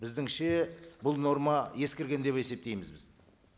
біздіңше бұл норма ескерген деп есептейміз біз